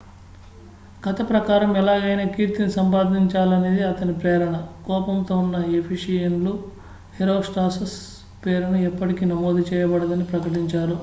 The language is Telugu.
కథ ప్రకారం ఎలాగైనా కీర్తిని సంపాదించాలనేది అతని ప్రేరణ కోపంతో ఉన్న ఎఫెసియన్లు హెరోస్ట్రాటస్ పేరును ఎప్పటికీ నమోదు చేయబడదని ప్రకటించారు